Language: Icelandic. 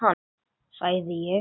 sagði ég.